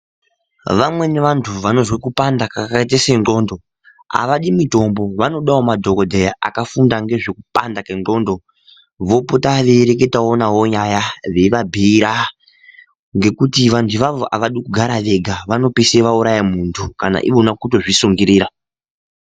Vamweni vantu vanozwe kupanda kwakaite sendxondo havadi mitombo, vanodawo madhogodheya akafunda ngezvekupanda kwendxondo vopota veireketawo navo nyaya veivabhiira ngekuti vantu avavo avadi kugara vega, vanopedzisira vauraya mumwe muntu kana kuto zvisungirira.